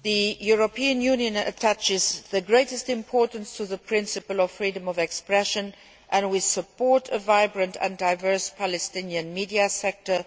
The European Union attaches the greatest importance to the principle of freedom of expression, and we support a vibrant and diverse Palestinian media sector